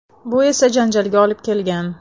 Bu esa janjalga olib kelgan.